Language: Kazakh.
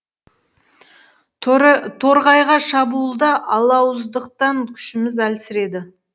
торғайға шабуылда алауыздықтан күшіміз әлсіреді